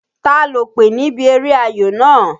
Ta lòpè níbi eré ayò náà?